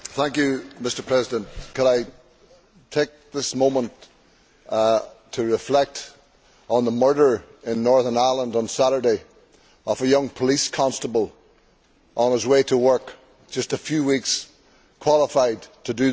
Mr President, could I take this moment to reflect on the murder in Northern Ireland on Saturday of a young police constable on his way to work, just a few weeks qualified to do the job.